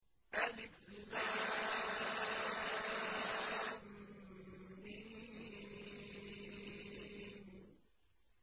الم